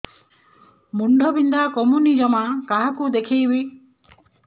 ମୁଣ୍ଡ ବିନ୍ଧା କମୁନି ଜମା କାହାକୁ ଦେଖେଇବି